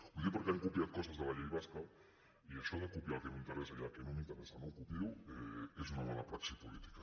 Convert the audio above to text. ho dic perquè han copiat coses de la llei basca i això de copiar el que m’interessa i el que no m’interessa no ho copio és una mala praxi política